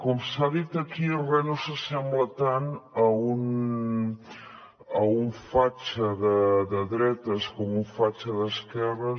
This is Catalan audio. com s’ha dit aquí re no s’assembla tant a un fatxa de dretes com un fatxa d’esquerres